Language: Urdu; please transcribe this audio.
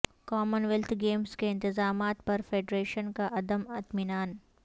کامن ویلتھ گیمز کے انتظامات پر فیڈریشن کا عدم اطمینان